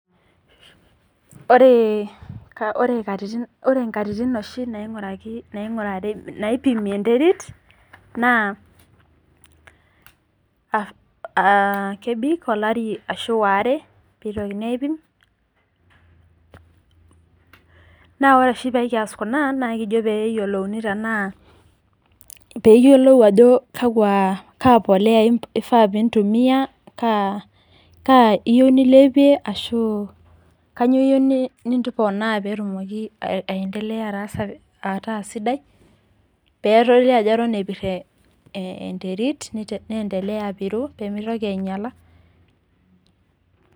Ore nkatitin oshi naipimi enterit naa kebik olari ashu waare peitokini aipim naa ore oshi pekias kuna naa kijo peyiolouni tenaa ,peyiolou ao kaa polea ifaa nilepie ashu kainyio iyieu niponaa petumoki aendelea ataasidai pedoli ajo eton epir enterit neendelea apiru , nemitoki ainyiala.